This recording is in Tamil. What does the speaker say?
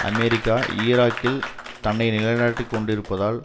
அமெரிக்கா ஈராக்கில் தன்னை நிலைநாட்டிக் கொண்டிருப்பதால்